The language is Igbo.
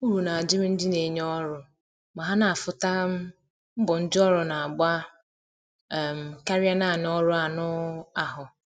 Uru na adịrị ndị na enye ọrụ ma ha na afụ ta um mbọ ndi ọrụ na agba um karịa naanị ọrụ anụ um ahụ